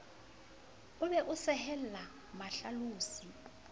o be o sehelle mahlalosi